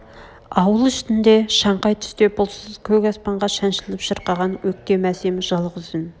ауыл үстіінде шаңқай түсте бұлтсыз көк аспанға шаншылып шырқаған өктем әсем жалғыз үн